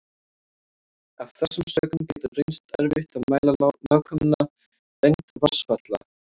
Af þessum sökum getur reynst erfitt að mæla nákvæma lengd vatnsfalla.